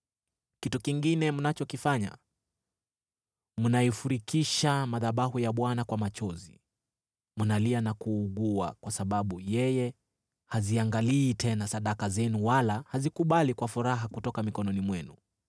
Kitu kingine mnachokifanya: Mnaifurikisha madhabahu ya Bwana kwa machozi. Mnalia na kuugua kwa sababu yeye haziangalii tena sadaka zenu wala hazikubali kwa furaha kutoka mikononi mwenu.